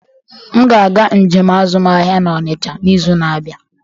M ga-aga njem azụmahịa na onitsha n'izu na-abịa.